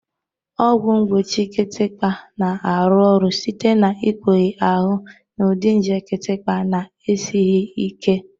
Ọgwụ mgbochi kịtịkpa na-arụ ọrụ site n'ikpughe ahụ n'ụdị nje kịtịkpa na-esighị ike.